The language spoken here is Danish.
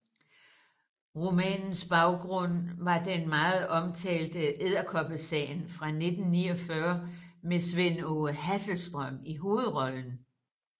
Romanens baggrund var den meget omtalte Edderkoppesagen fra 1949 med Svend Aage Hasselstrøm i hovedrollen